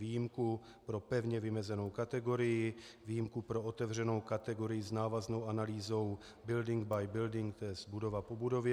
Výjimku pro pevně vymezenou kategorii, výjimku pro otevřenou kategorii s návaznou analýzou building by building, to je budova po budově.